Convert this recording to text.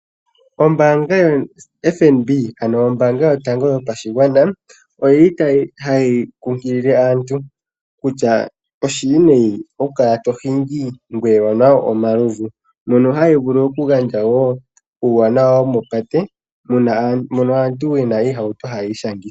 Ombaanga yoFNB, ano ombaanga yotango yopashigwana, otayi kunkilile aantu kutya, oshiwinayi okukala to hingi ngweye owa nwa omalovu. Ohayi vulu wo okugandja uuwanawa womopate moka aantu ye na iihauto hayi ishangitha.